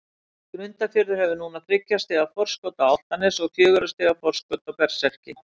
Grundarfjörður hefur núna þriggja stiga forskot á Álftanes og fjögurra stiga forskot á Berserki.